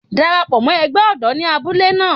Dara pọ̀ mọ́ ẹgbẹ́ ọ̀dọ́ ní abúlé náà.